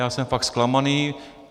Já jsem fakt zklamaný.